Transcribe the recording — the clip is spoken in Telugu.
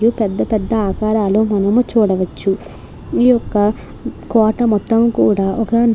ఇవి పెద్ద పెద్ద ఆకారాలు మనం చూడవచ్చు ఈ యొక్క కోట మొత్తము కూడా ఒక.